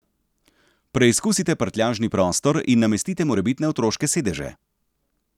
Preizkusite prtljažni prostor in namestite morebitne otroške sedeže.